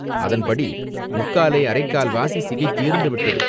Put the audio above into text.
அதன்படி முக்காலே அரைக்கால்வாசி சிகை தீர்ந்து விட்டது.